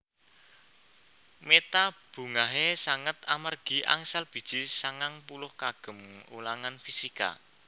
Meta bungahe sanget amargi angsal biji sangang puluh kagem ulangan fisika